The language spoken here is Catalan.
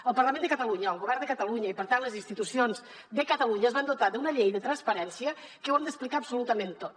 el parlament de catalunya el govern de catalunya i per tant les institucions de catalunya es van dotar d’una llei de transparència per la que ho hem d’explicar absolutament tot